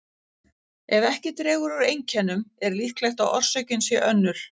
Ef ekki dregur úr einkennum er líklegt að orsökin sé önnur.